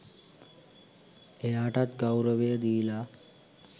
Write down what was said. එයාටත් ගෞරවය දීලා